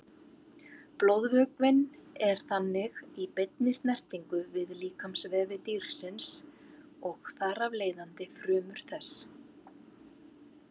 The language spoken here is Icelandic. Blóðvökvinn er þannig í beinni snertingu við líkamsvefi dýrsins og þar af leiðandi frumur þess.